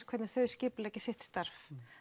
hvernig þau skipuleggja sitt starf